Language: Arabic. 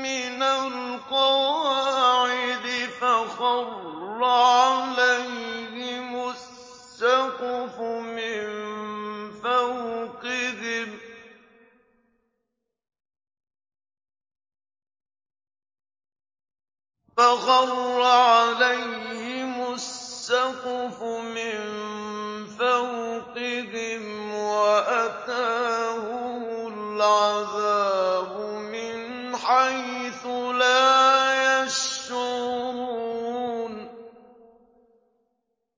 مِّنَ الْقَوَاعِدِ فَخَرَّ عَلَيْهِمُ السَّقْفُ مِن فَوْقِهِمْ وَأَتَاهُمُ الْعَذَابُ مِنْ حَيْثُ لَا يَشْعُرُونَ